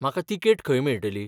म्हाका तिकेट खंय मेळटली?